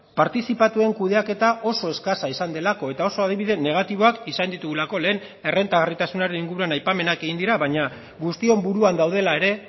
partizipatuen kudeaketa oso eskasa izan delako eta oso adibide negatiboak izan ditugulako lehen errentagarritasunaren inguruan aipamenak egin dira baina guztion buruan daudela ere